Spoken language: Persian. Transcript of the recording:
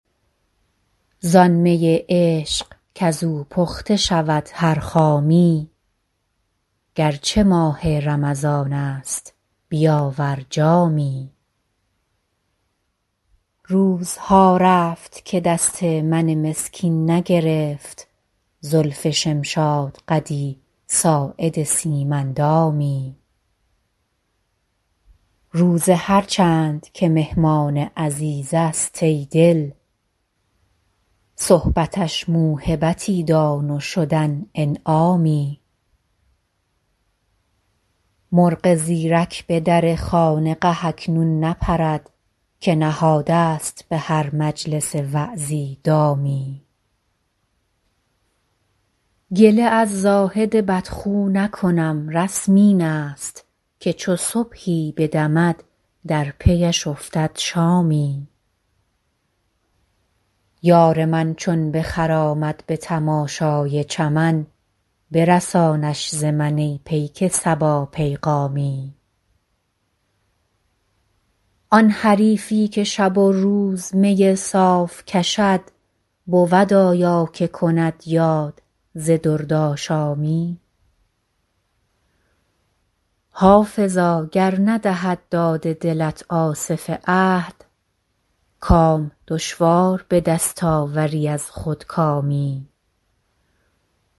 زان می عشق کز او پخته شود هر خامی گر چه ماه رمضان است بیاور جامی روزها رفت که دست من مسکین نگرفت زلف شمشادقدی ساعد سیم اندامی روزه هر چند که مهمان عزیز است ای دل صحبتش موهبتی دان و شدن انعامی مرغ زیرک به در خانقه اکنون نپرد که نهاده ست به هر مجلس وعظی دامی گله از زاهد بدخو نکنم رسم این است که چو صبحی بدمد در پی اش افتد شامی یار من چون بخرامد به تماشای چمن برسانش ز من ای پیک صبا پیغامی آن حریفی که شب و روز می صاف کشد بود آیا که کند یاد ز دردآشامی حافظا گر ندهد داد دلت آصف عهد کام دشوار به دست آوری از خودکامی